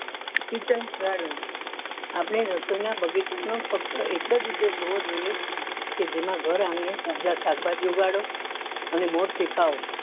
Kitchen garden આપણે રસોઈ ના બગીચા નો ફક્ત એક જ ઉદ્દેશ હોવો જોઈએ કે જેમાં ઘર આંગણે તાઝા શાકભાજી ઉગાડો અને મોજ થી ખાઓ